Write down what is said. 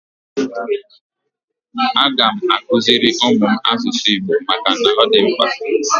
Aga m akuziri ụmụ m asụsụ Igbo maka na ọ dị mkpa.